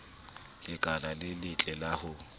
lekala le letle la ho